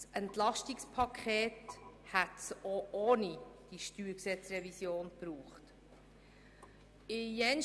Das EP hätte es auch ohne die StG-Revision gebraucht.